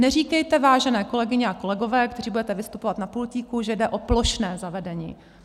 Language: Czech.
Neříkejte, vážené kolegyně a kolegové, kteří budete vystupovat na pultíku, že jde o plošné zavedení.